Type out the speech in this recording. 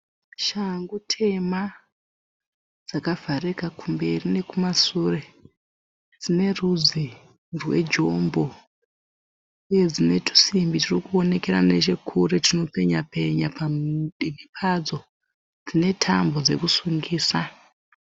Shangu tema dzakavharika kumberi nekumasure. Dzine rudzi rwejombo uye dzine twusimbi twuri kuonekera nechekure twunopenya penya padivi padzo. Dzine tambo dzokusungisa.